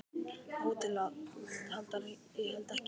HÓTELHALDARI: Ég held ekki.